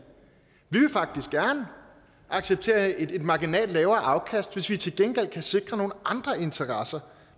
faktisk gerne acceptere et marginalt lavere afkast hvis vi til gengæld kan sikre nogle andre interesser